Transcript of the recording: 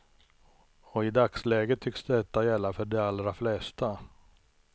Och i dagsläget tycks detta gälla för de allra flesta.